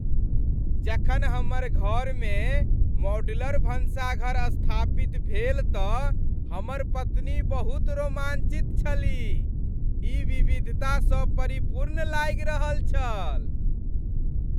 जखन हमर घरमे मॉडुलर भानसघर स्थापित भेल तऽ हमर पत्नी बहुत रोमांचित छलीह। ई विविधता स परिपूर्ण लागि रहल छल।